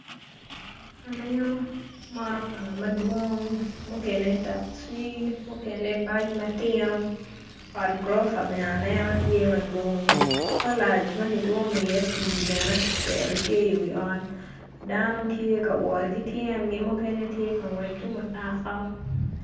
Aneno motoka madwong mukene takci mukene bac ma tino ot guropa bene aneno tye madwong kolac ma kitwomo iye pii bene kiketo iwi ot dano tye ka wot ki tyengi mukene tye ka ngwec ki mutoka.